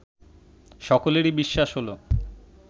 সকলেরই বিশ্বাস হল